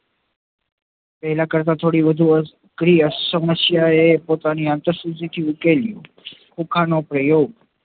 પેહલા કરતા થોડી વધુ અઘરી સમસ્યા એ પોતાની આંતર સુજી થી ઉકેલી